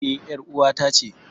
E, ƴar ƴar'uwata ce.